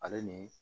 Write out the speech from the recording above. Ale ni